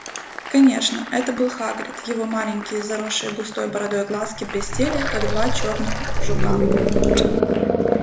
конечно это был хагрид его маленькие заросшие густой бородой глазки блестели как два чёрных жука